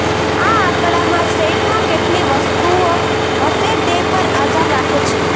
આ આંકડામાં સેટમાં કેટલી વસ્તુઓ હશે તે પર આધાર રાખે છે